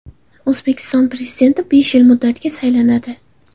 O‘zbekiston Prezidenti besh yil muddatga saylanadi .